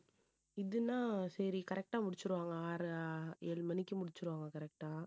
இதுன்னா சரி correct ஆ முடிச்சிருவாங்க ஆறு ஏழு மணிக்கு முடிச்சிருவாங்க correct ஆ